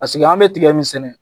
Paseke an be tigɛ min sɛnɛ